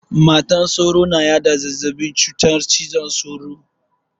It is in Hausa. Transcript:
Matar sauro na yada cutar zazzabin cizon sauro.